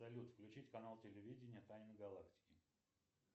салют включить канал телевидения тайны галактики